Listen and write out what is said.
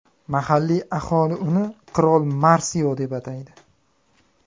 Mahalliy aholi uni Qirol Marsio deb ataydi.